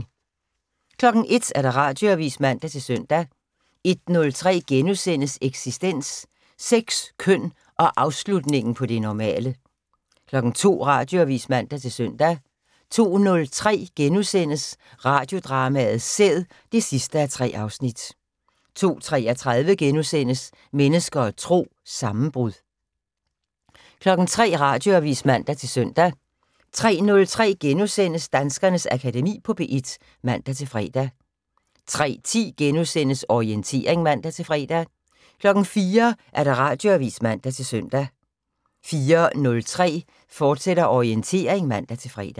01:00: Radioavis (man-søn) 01:03: Eksistens: Sex, køn og afslutningen på det normale * 02:00: Radioavis (man-søn) 02:03: Radiodrama: Sæd (3:3)* 02:33: Mennesker og Tro: Sammenbrud * 03:00: Radioavis (man-søn) 03:03: Danskernes Akademi på P1 *(man-fre) 03:10: Orientering *(man-fre) 04:00: Radioavis (man-søn) 04:03: Orientering, fortsat (man-fre)